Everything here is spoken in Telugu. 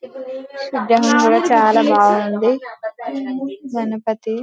విగ్రహం కూడా చాలా బాగుంది గణపతి--